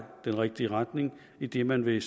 den rigtige retning idet man ved